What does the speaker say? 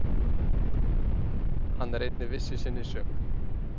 Hann er einnig viss í sinni sök.